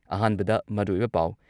ꯑꯍꯥꯟꯕꯗ ꯃꯔꯨꯑꯣꯏꯕ ꯄꯥꯎ